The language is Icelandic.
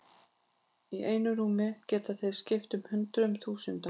Í einu rúmi geta þeir skipt hundruðum þúsunda.